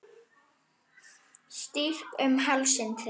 Strýk um háls þinn.